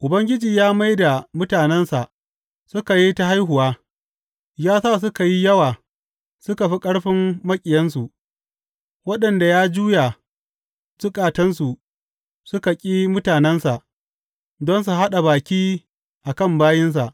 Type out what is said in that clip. Ubangiji ya mai da mutanensa suka yi ta haihuwa; ya sa suka yi yawa suka fi ƙarfin maƙiyansu, waɗanda ya juya zukatansu su ƙi mutanensa don su haɗa baki a kan bayinsa.